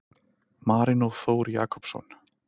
Marino Þór Jakobsson